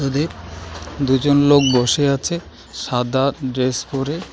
দুজন লোক বসে আছে সাদা ড্রেস পরে।